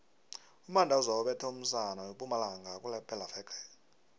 umandoza ubethe umusana wempumalanga kulephelaveke